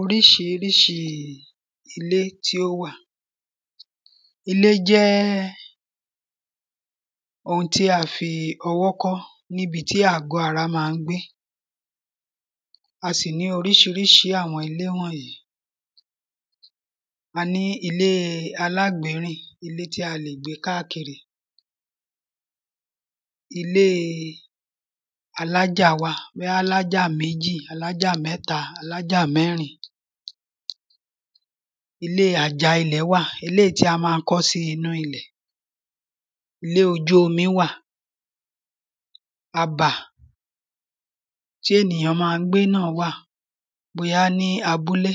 oríṣiríṣi ilé tí ó wà ilé jẹ́ ohun tí a fi ọwọ́ kọ́ níbi tí àgọ́ ara máa ń gbé a sì ní oríṣiríṣi àwọn ilé wọ̀nyí a ní ilée aláàgbérìn ilé tí a lè gbé káàkiri ilée alájà wà bí alájà méjì alájà mẹ́ta, alájà mẹ́rin ilée àjà ilẹ̀ wà eléyìí ta máa ń kọ́ sínú ilẹ̀ ilé ojú omi wà abà ténìyàn máa ń gbé náà wà, bóyá ní abúlé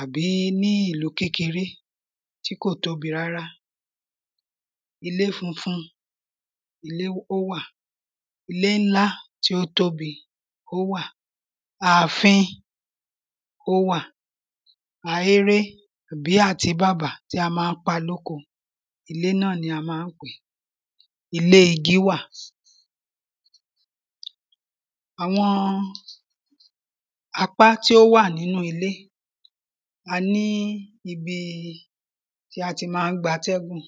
àbí ní ìlú kékeré tí kò tóbi rárá ilé funfun ilé ó wà ilé ńlá tí ó tóbi ó wà ààfin ó wà, ahéré tàbí àtíbàbà tí a máa ń bá lóko ilé náà ni a máa ń pèé ilé igi wà àwọn apá tí ó wà nínú ilé, a ní ibi tí a ti máa ń gba atẹ́gùn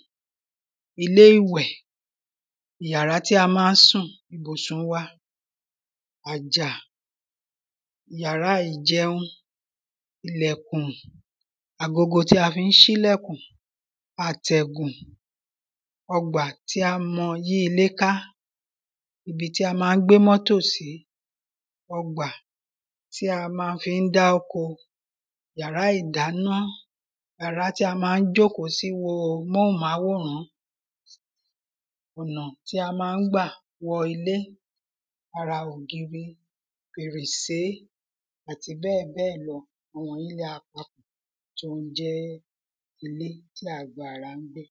ilé ìwẹ̀ yàrá tí a máa ń sùn kò sùn wa, àjà yàrá ìjẹun ilẹ̀kùn agogo tí a fi ń sí lẹ̀kùn, àtẹ̀gùn ọgbà tí a mọ yí ilé ká, ibi tí a máa ń gbé mọ́tò sí ọgbà tí a ma fi ń dá oko, yàrá ìdáná, yàrá tí a máa jókòó sí wo móhùnmáwòrán ọ̀nà tí a máa ń gbà wọ ilé, ara ògiri, fèrèsé àti bẹ́ẹ̀bẹ́ẹ̀ lọ, àwọn wọ̀nyí ni a papọ̀ tí ó ń jẹ́ ilé tí a gbà ránpẹ́